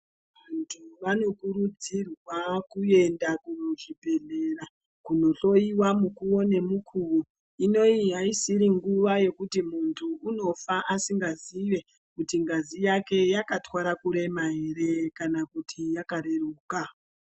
Vantu vanokurudzirwa kuenda kuzvibhedhlera kunohloyiwa mukuwo nemukuwo inoyi aisisiri nguwa yekuti muntu unofa asingazive kuti ngazi yake yakatwara kurema ere kana kuti yakareruka.